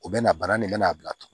U bɛ na bana nin bɛna a bila tugu